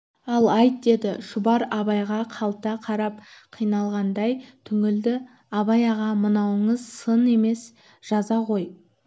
ал айт деді шұбар абайға қалта қарап қиналғандай түңілді абай аға мынауыңыз сын емес жаза ғой